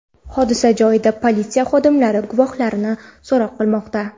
Hodisa joyida politsiya xodimlari guvohlarni so‘roq qilmoqda.